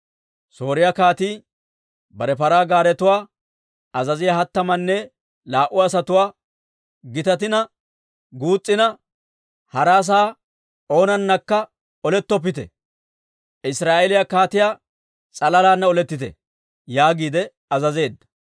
Sooriyaa kaatii bare paraa gaaretuwaa azaziyaa hattamanne laa"u asatuwaa, «Gitatina guus's'ina hara asaa oonanakka olettoppite; Israa'eeliyaa kaatiyaa s'alalana olettite» yaagiide azazeedda.